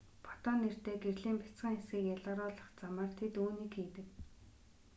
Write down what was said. фотон нэртэй гэрлийн бяцхан хэсгийг ялгаруулах замаар тэд үүнийг хийдэг